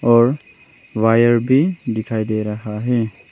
और वायर भी डिखाई दे रहा है।